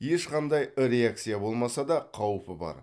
ешқандай реакция болмаса да қауіпі бар